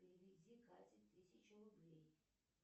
переведи кате тысячу рублей